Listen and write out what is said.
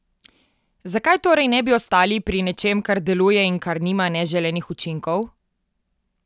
Zakaj torej ne bi ostali pri nečem, kar deluje in kar nima neželenih učinkov?